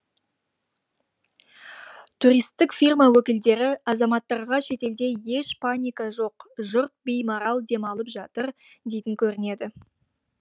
туристтік фирма өкілдері азаматтарға шетелде еш паника жоқ жұрт беймарал демалып жатыр дейтін көрінеді